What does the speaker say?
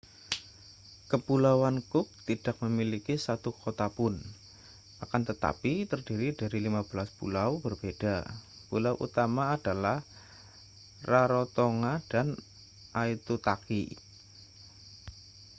kepulauan cook tidak memiliki satu kota pun akan tetapi terdiri dari 15 pulau berbeda pulau utama adalah rarotonga dan aitutaki